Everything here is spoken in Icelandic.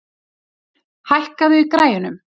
Ýrr, hækkaðu í græjunum.